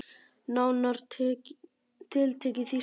Nánar tiltekið þýsku.